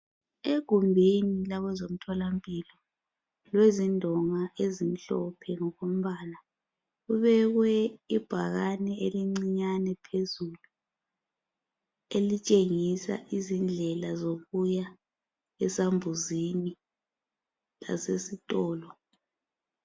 Egumbini labezomthola mpilo kulezindonga ezimhlophe ngokombala kubekwe ibhakani phezulu elitshengisa indlela zokuya esambuzini lasezitolo